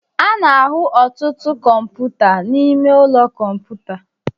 a na-ahụ ọtụtụ kọmputa n'ime ụlọ kọmputa